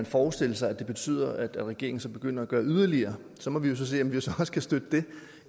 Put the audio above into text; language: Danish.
forestille sig at det betyder at regeringen så begynder at gøre yderligere så må vi jo se om vi så også kan støtte det